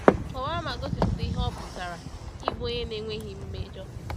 Kọwaa ma gosipụta ihe ọ pụtara ịbụ onye na-enweghị mmejọ.